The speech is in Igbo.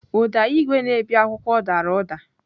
Ụda igwe na-ebi akwụkwọ dara ụda.